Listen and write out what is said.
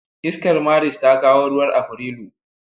Iskar Maris ta kawo ruwan Afrilu.